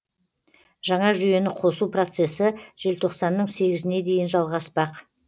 жаңа жүйені қосу процесі желтоқсанның сегізіне дейін жалғаспақ